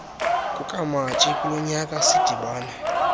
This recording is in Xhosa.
kukamatshi kulonyaka sidibane